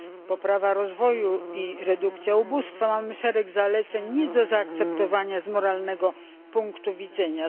poprawa rozwoju i redukcja ubóstwa, mamy szereg zaleceń nie do zaakceptowania z moralnego punktu widzenia.